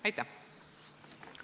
Aitäh!